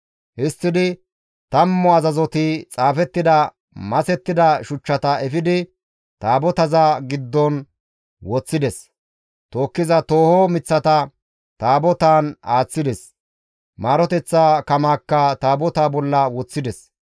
Histtidi tammu azazoti xaafettida masettida shuchchata efidi Taabotaza giddon woththides; tookkiza tooho miththata Taabotaan aaththides; maaroteththa kamaakka Taabotaa bolla woththides.